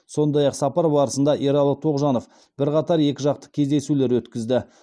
сондай ақ сапар барысында ералы тоғжанов бірқатар екіжақты кездесулер өткізді